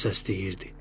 O səs deyirdi: